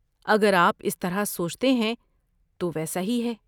اگر آپ اس طرح سوچتے ہیں تو ویسا ہی ہے۔